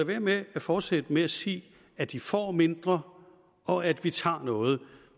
være med at fortsætte med at sige at de får mindre og at vi tager noget